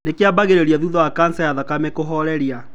Nĩ kĩambagĩrĩria thutha wa kanca ya thakame kũhooreria.